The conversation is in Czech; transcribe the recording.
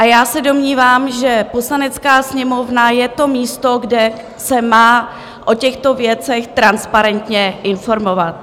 A já se domnívám, že Poslanecká sněmovna je to místo, kde se má o těchto věcech transparentně informovat.